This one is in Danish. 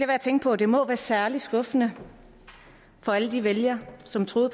at tænke på at det må være særlig skuffende for alle de vælgere som troede